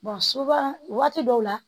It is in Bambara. soba waati dɔw la